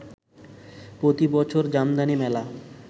প্রতি বছর জামদানি মেলা